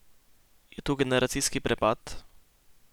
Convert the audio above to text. Je tu generacijski prepad?